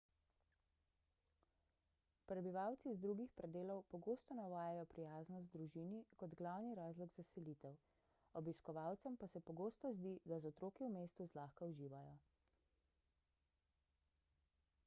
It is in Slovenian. prebivalci z drugih predelov pogosto navajajo prijaznost družini kot glavni razlog za selitev obiskovalcem pa se pogosto zdi da z otroki v mestu zlahka uživajo